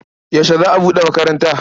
Yaushe za a buɗe makaranta?